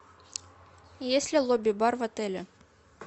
есть ли лобби бар в отеле